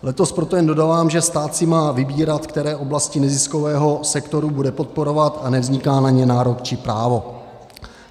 Letos proto jen dodávám, že stát si má vybírat, které oblasti neziskového sektoru bude podporovat, a nevzniká na ně nárok či právo.